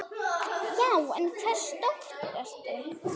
Já, en hvers dóttir ertu.?